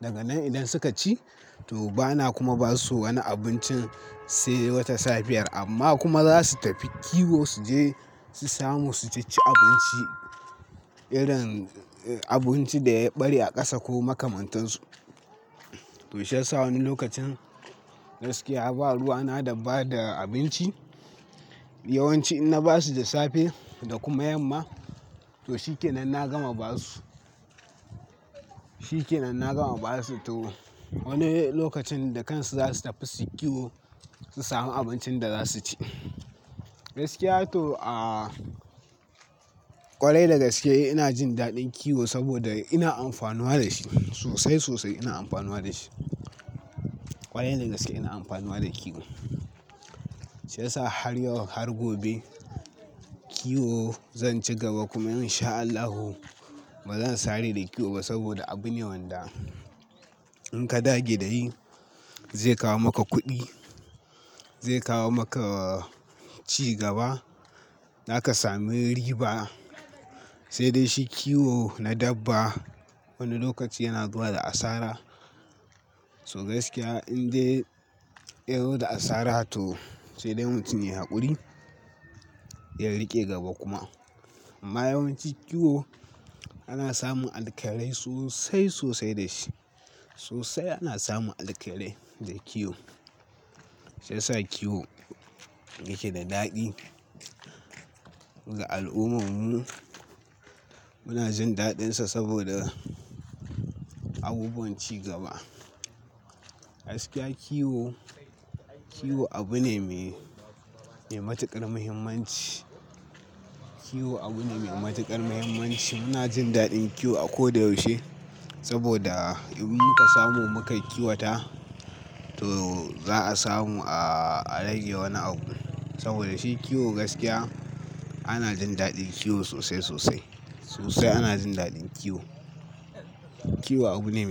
Daga nan idan suka ci, to bana kuma ba su wani abincin sai wata safiyar. Amma kuma za su tafi kiwo su je su samu su ci abinci irin abinci da ya ɓare a ƙasa ko makamantansu. To shi ya sa wani lokacin gaskiya, ba ruwa na daba da abinci. Yawanci in na ba su da safe da kuma yamma, to shikenan na gama ba su. Shikenan na gama ba su. To wani lokacin da kansu za su tafi su kiwo, su samu abincin da za su ci. Gaskiya to, a ƙwarai dagaske ina jin daɗin kiwo saboda ina amfanuwa da shi sosai, sosai ina amfanuwa da shi. Ƙwarai dagaske ina amfano da kiwo. Shi ya sa har yau har gobe kiwo zan ci gaba kuma in sha Allahu ba zan sare da kiwo ba saboda abu ne wanda in ka dage da yi, zai kawo maka kuɗi, zai kawo maka ci gaba, za ka sami riba. Sai dai shi kiwo na dabba wani lokaci yana zuwa da asara. So gaskiya in dai ya zo da asara to sai dai mutum yayi haƙuri ya riƙe gaba kuma. Amma yawanci kiwo ana samun alkarai sosai, sosai da shi. Sosai ana samun alkairai da kiwo. Shi ya sa kiwo yake da daɗi ga al'ummarmu. Muna jin daɗinsa saboda abubuwan cigaba. Gaskiya kiwo, kiwo abu ne mai, mai matuƙar muhimmanci. Kiwo abu ne mai matuƙar muhimmanci. Muna jin daɗin kiwo a ko da yaushe saboda in muka samu muka kiwata, to za a samu a rage wani abu. Saboda shi kiwo gaskiya ana jin daɗin kiwo sosai, sosai. Sosai ana jin daɗin kiwo. Kiwo abu ne.